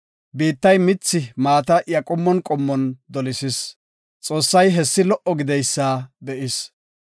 Biittay mithi maata iya qommon qommon dolisis. Xoossay hessi lo77o gididaysa be7is.